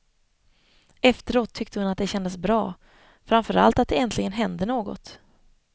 Efteråt tyckte hon att det kändes bra, framför allt att det äntligen hände något.